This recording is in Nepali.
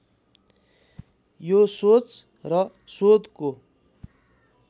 यो सोच र शोधको